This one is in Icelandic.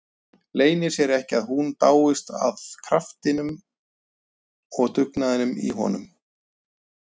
Leynir sér ekki að hún dáist að kraftinum og dugnaðinum í honum.